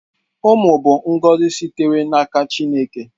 Umụ bụ ngozi sitere n'aka Chineke.